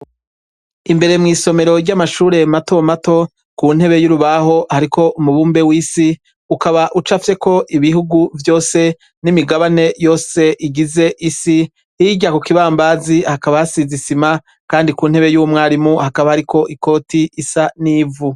Imbere mw' isomero ry' amashure mato mato, Ku ntebe y' urubaho hariko umubumbe w' isi, ukaba ucafyeko igihugu vyose n' imigabane yose igize isi, hirya yaho ku kibambazi hakaba hasize isima, kandi ku ntebe y' umwarimu hakaba hariko ikoti isa n' ivu.